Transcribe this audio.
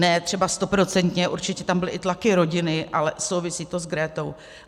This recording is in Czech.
Ne třeba stoprocentně, určitě tam byly i tlaky rodiny, ale souvisí to s Gretou.